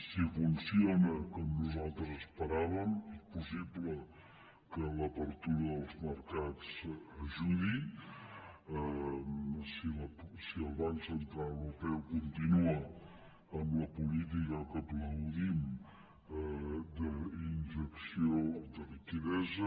si funciona com nosaltres esperàvem és possible que l’apertura dels mercats hi ajudi si el banc central europeu continua amb la política que aplaudim d’injecció de liquiditat